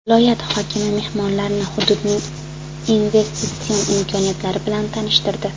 Viloyat hokimi mehmonlarni hududning investitsion imkoniyatlari bilan tanishtirdi.